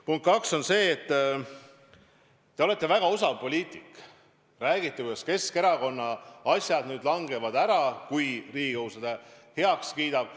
Punkt 2: te olete väga osav poliitik, räägite, et Keskerakonna asjad langevad ära, kui Riigikogu selle eelnõu heaks kiidab.